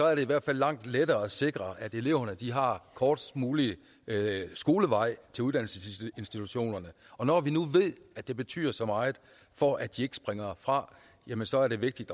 er det i hvert fald langt lettere at sikre at eleverne har kortest mulig vej til uddannelsesinstitutionerne og når vi nu ved at det betyder så meget for at de ikke springer fra jamen så er det vigtigt